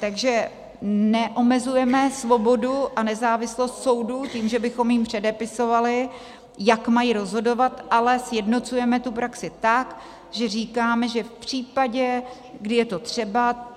Takže neomezujeme svobodu a nezávislost soudů tím, že bychom jim předepisovali, jak mají rozhodovat, ale sjednocujeme tu praxi tak, že říkáme, že v případě, kdy je to třeba,